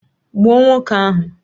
Gbuo nwoke ahu!